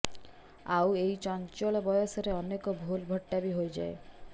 ଆଉ ଏଇ ଚଞ୍ଚଳ ବୟସରେ ଅନେକ ଭୁଲ୍ ଭଟ୍କା ବି ହୋଇଯାଏ